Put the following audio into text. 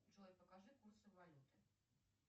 джой покажи курсы валюты